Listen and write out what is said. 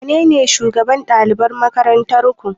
Wanene shugaban ɗalibai a makarantar ku